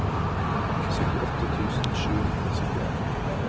syttiåtte tusen sju hundre og syttien